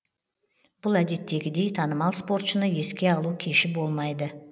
бұл әдеттегідей танымал спортшыны еске алу кеші болмайды